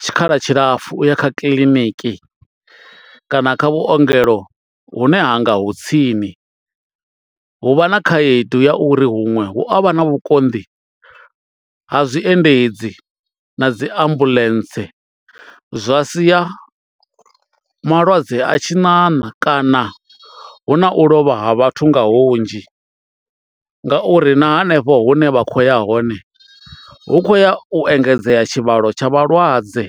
tshikhala tshilapfu u ya kha kiḽiniki kana kha vhuongelo hune hanga hu tsini. Hu vha na khaedu ya uri huṅwe hu avha na vhukonḓi ha zwi endedzi na dzi ambuḽentse zwa sia malwadze a tshi ṋaṋa kana hu na u lovha ha vhathu nga hunzhi ngauri na hanefho hune vha khoya hone hu khoya u engedzea tshivhalo tsha vhalwadze.